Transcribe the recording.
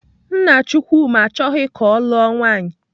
Nna Chukwuma achọghị ka ọ lụọ nwaanyị.